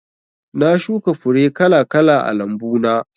Na shuka fure kala kala a lambu na